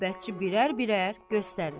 Növbətçi birər-birər göstərir.